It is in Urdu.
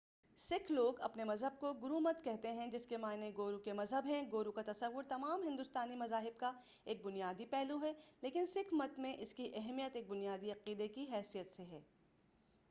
سکھ لوگ اپنے مذہب کو گرومت کہتے ہیں جس کے معنی گورو کے مذہب ہیں گورو کا تصوُّر تمام ہندوستانی مذاہب کا ایک بنیادی پہلو ہے لیکن سکھ مت میں اس کی اہمیت ایک بنیادی عقیدہ کی حیثیت سے ہے